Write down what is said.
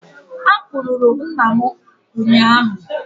Akpụrụ rụ nna m ụnyahụ